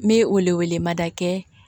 N bɛ o wele wele mada kɛ